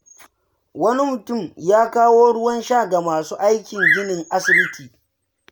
Wani mutum ya kawo ruwan sha ga masu aiki a ginin asibiti.